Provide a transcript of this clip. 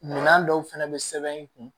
Minan dɔw fɛnɛ bɛ sɛbɛn i kun